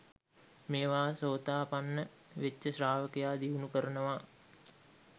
මේවා සෝතාපන්න වෙච්ච ශ්‍රාවකයා දියුණු කරනවා